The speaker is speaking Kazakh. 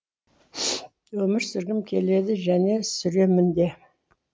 өмір сүргім келеді және сүремін де